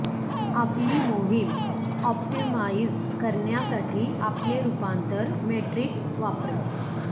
आपली मोहिम ऑप्टिमाइझ करण्यासाठी आपले रुपांतर मेट्रिक्स वापरा